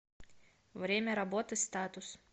время работы статус